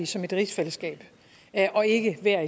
som et rigsfællesskab og ikke hver